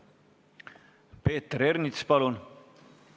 Peeter Ernits, palun!